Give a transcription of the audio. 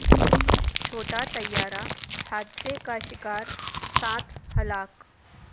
چھوٹا طیارہ حادثہ کا شکار سات ہلاک